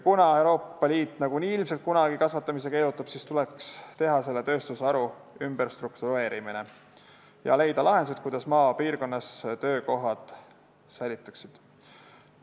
Kuna Euroopa Liit nagunii ilmselt kunagi kasvatamise keelustab, siis tuleks see tööstusharu ümber struktureerida ja leida lahendused, kuidas maapiirkonnas töökohad säiliksid.